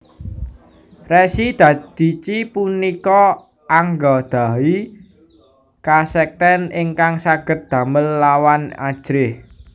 Resi Dadici punika anggadhahi kasekten ingkang saged damel lawan ajrih